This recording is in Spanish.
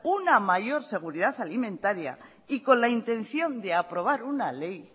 una mayor seguridad alimentaria y con la intención de aprobar una ley